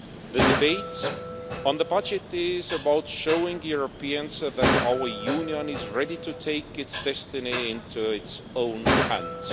The debate on the budget is about showing Europeans that our Union is ready to take its destiny into its own hands.